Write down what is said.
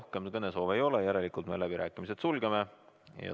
Rohkem kõnesoove ei ole, järelikult me sulgeme läbirääkimised.